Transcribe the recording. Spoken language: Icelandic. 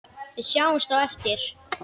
Við sjáumst á eftir.